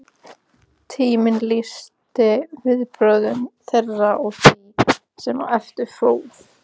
Tíminn lýsti viðbrögðum þeirra og því, sem á eftir fór